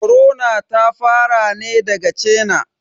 Korona ta fara ne daga China